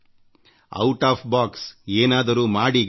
ಸ್ನೇಹಿತರೆ ನಿಮ್ಮನ್ನು ಹೊರಗೆಳೆದುಏನಾದರೂ ಮಾಡಿ